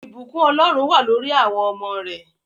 Ìbùkún Ọlọ́run wà lórí awọn ọmọ rẹ